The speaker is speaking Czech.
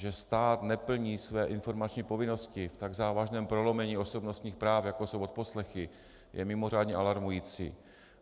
Že stát neplní své informační povinnosti v tak závažném prolomení osobnostních práv, jako jsou odposlechy, je mimořádně alarmující.